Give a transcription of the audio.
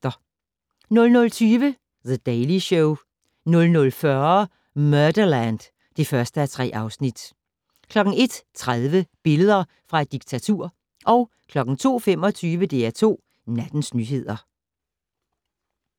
00:20: The Daily Show 00:40: Murderland (1:3) 01:30: Billeder fra et diktatur 02:25: DR2 Nattens nyheder